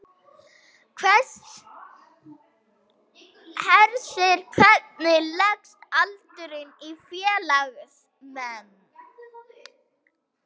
Hersir, hvernig leggst aldurinn í félagsmenn?